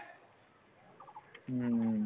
উম